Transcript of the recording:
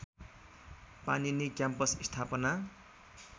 Panini campus स्थापना